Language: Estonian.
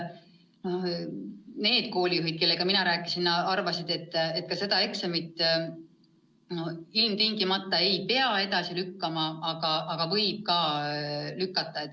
Need koolijuhid, kellega mina rääkisin, arvasid, et ka seda eksamit ei pea ilmtingimata edasi lükkama, aga võib lükata.